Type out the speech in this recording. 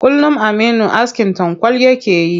Kullum aminu askin tankwal yake yi.